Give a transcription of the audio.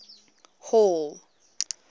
hall